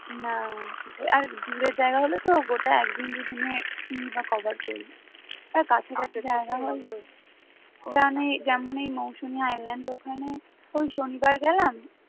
না সেটা আর দূরের জায়গা হলেতো গোটা একদিন দুদিনে কিইবা cover করবে? আর কাছাকাছি জায়গা হলে বা আমি জার্মানি মৌসুমি island ওখানে ওই শনিবার গেলাম